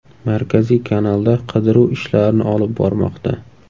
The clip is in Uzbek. Markaziy kanalda qidiruv ishlarini olib bormoqda.